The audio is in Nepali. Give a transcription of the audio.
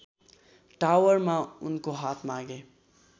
टावरमा उनको हात मागे